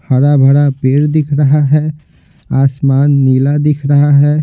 हरा भरा पेड़ दिख रहा है आसमान नीला दिख रहा है।